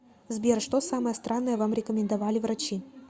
сбер что самое странное вам рекомендовали врачи